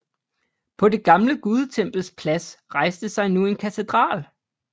På det gamle gudetempels plads rejste sig nu en katedral